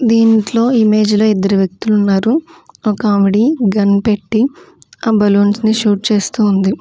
దీంట్లో ఈ ఇమేజ్ లో ఇద్దరు వ్యక్తులు ఉన్నారు ఒక ఆవిడి గన్ పెట్టి ఆ బెలూన్స్ ని షూట్ చేస్తూ ఉంది.